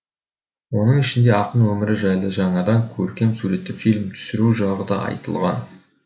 оның ішінде ақын өмірі жайлы жаңадан көркем суретті фильм түсіру жағы да айтылған